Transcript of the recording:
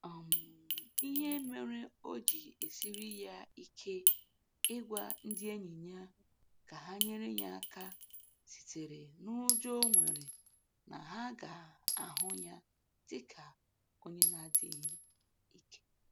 um Ihe mere o ji esiri ya ike ịgwa ndị enyi ya ka ha nyere ya aka sitere n'ụjọ o nwere na ha ga-ahụta ya dị ka onye na-adịghị ike.